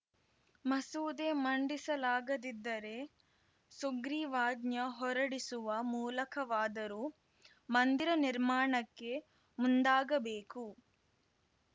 ಮಸೂದೆ ಮಂಡಿಸಲಾಗದಿದ್ದರೆ ಸುಗ್ರೀವಾಜ್ಞೆ ಹೊರಡಿಸುವ ಮೂಲಕವಾದರೂ ಮಂದಿರ ನಿರ್ಮಾಣಕ್ಕೆ ಮುಂದಾಗಬೇಕು